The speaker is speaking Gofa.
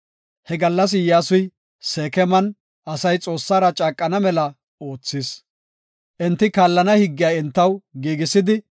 He gallas Iyyasuy, Seekeman asay Xoossara caaqana mela oothis. Enti kaallana higgiya entaw giigisidi,